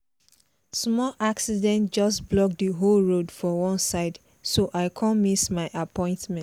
small accident just block the whole road for one side so i come miss my appointment